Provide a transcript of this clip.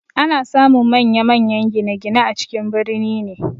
Ana samun manyan-manyan gine-gine a cikin birni ne.